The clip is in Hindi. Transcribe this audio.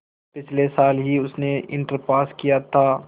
पिछले साल ही उसने इंटर पास किया था